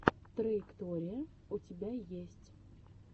траектория у тебя есть